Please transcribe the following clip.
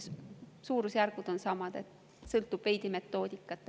Suurusjärk on sama, sõltub veidi metoodikast.